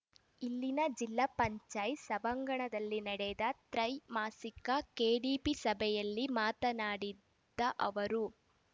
ಇಲ್ಲಿನ ಜಿಲ್ಲ ಪಂಚಾಯ್ತ್ ಸಭಾಂಗಣದಲ್ಲಿ ನಡೆದ ತ್ರೈಮಾಸಿಕ ಕೆಡಿಪಿ ಸಭೆಯಲ್ಲಿ ಮಾತನಾಡಿದ ಅವರು